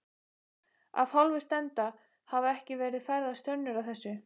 Af hálfu stefnda hafa ekki verið færðar sönnur að þessu.